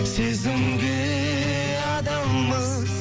сезімге адалмыз